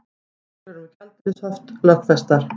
Reglur um gjaldeyrishöft lögfestar